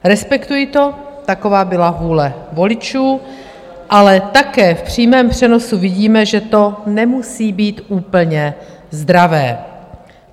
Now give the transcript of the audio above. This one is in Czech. Respektuji to, taková byla vůle voličů, ale také v přímém přenosu vidíme, že to nemusí být úplně zdravé.